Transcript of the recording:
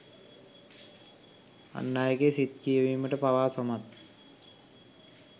අන් අයගේ සිත් කියවීමට පවා සමත්